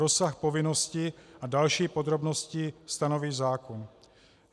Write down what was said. Rozsah povinností a další podrobnosti stanoví zákon.